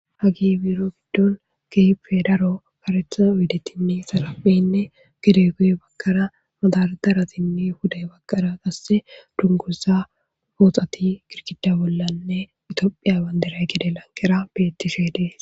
Hagey biiro giddon keehippe daro karetha oydetinne xarapheti, guye baggara madardaratinne pude baggara qasse dunguza pooxati girgidda bollanne Tophphiya bandiray gede lanqera beetishe dees.